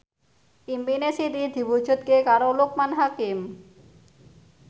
impine Siti diwujudke karo Loekman Hakim